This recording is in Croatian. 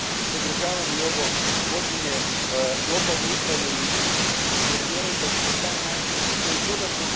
I zato podržavam i ovo uvođenje lokalne upravne jedinice jer vjerujem da će se na taj način još